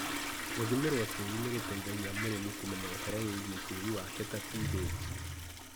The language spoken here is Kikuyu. Gũthimĩrwo tĩri nĩ gũteithagia mũrĩmi kũmenya ũhoro wĩgiĩ tĩri wake ta PH.